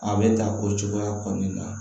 A bɛ ta o cogoya kɔni na